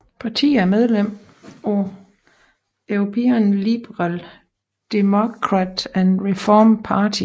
Partiet er medlem af European Liberal Democrat and Reform Party